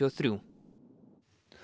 þrjú